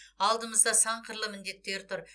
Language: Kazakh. алдымызда сан қырлы міндеттер тұр